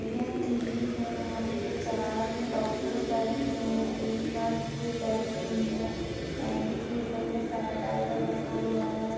यह एक क्लिनिक है यहा पे चार डॉक्टर्स बैठे हुए है एक नर्स भी बैठी हुई है एंड केबल में सैनीटाइज़र रखा हुआ है।